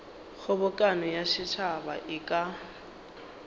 kgobokano ya setšhaba e ka